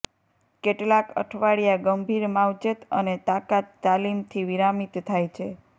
કેટલાંક અઠવાડિયા ગંભીર માવજત અને તાકાત તાલીમથી વિરામિત થાય છે